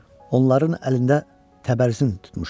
Onların əlində təbərzin tutmuşdular.